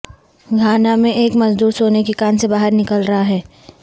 Ghana میں ایک مزدور سونے کی کان سے باہر نکل رہا ہے